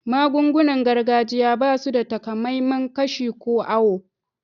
Magun-gunan gargajiya ba su da takamaiman kashi ko auwo.